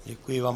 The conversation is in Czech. Děkuji vám.